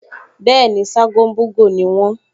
Bẹ́ẹ̀ni, Ṣágo ń bú'gò ni wọ́n